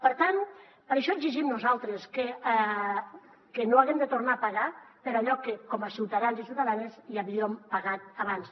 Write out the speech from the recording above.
per tant per això exigim nosaltres que no haguem de tornar a pagar per allò que com a ciutadans i ciutadanes ja havíem pagat abans